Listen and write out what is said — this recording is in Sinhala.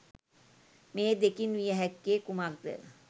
මේ දෙකින් විය හැක්කේ කුමක්ද?